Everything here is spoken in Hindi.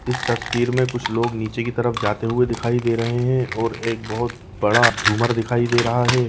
इस तस्वीर में कुछ लोग नीचे की तरफ जाते हुए दिखाई दे रहे हैं और एक बहुत बड़ा झूमर दिखाई दे रहा है।